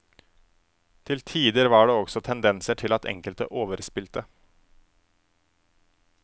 Til tider var det også tendenser til at enkelte overspilte.